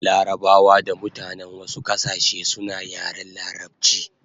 Larabawa da mutanen wasu kasashe suna yaren larabchi